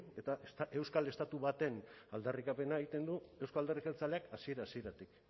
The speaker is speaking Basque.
eta euskal estatu baten aldarrikapena egiten du euzko alderdi jeltzaleak hasiera hasieratik